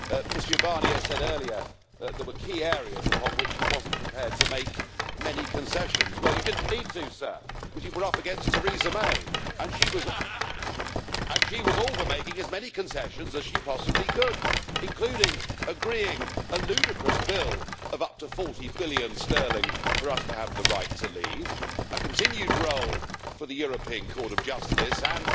Mr Barnier said earlier that there were key areas upon which he wasn't prepared to make many concessions. Well, you didn't need to, sir, because you were up against Theresa May, and she was all for making as many concessions as she possibly could, including agreeing a ludicrous bill of up to 40 billion sterling for us to have the right to leave, a continued role for the European Court of Justice and,